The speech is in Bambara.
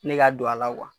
Ne ka don a la